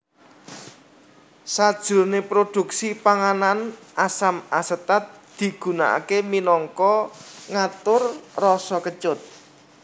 Sajroné produksi panganan asam asetat digunakaké minangka ngatur rasa kecut